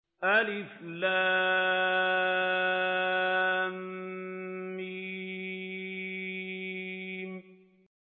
الم